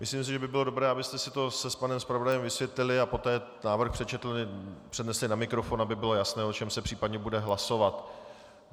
Myslím si, že by bylo dobré, abyste si to s panem zpravodajem vysvětlili a poté návrh přečetli, přednesli na mikrofon, aby bylo jasné, o čem se případně bude hlasovat.